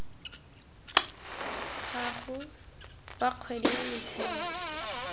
gago wa kgwedi wa motheo